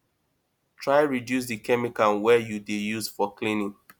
try reduce di chemical wey you dey use for cleaning